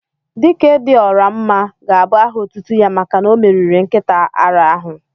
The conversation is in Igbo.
"Dike dị ọra mma" ga-abụ áhà otútú ya màkà na omeriri nkịta árá áhù